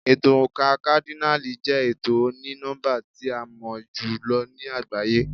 Ètò oǹkà kádínààlì jẹ́ ètò oní nọ́mbà tí a mọ̀ jù lọ ní àgbáyé.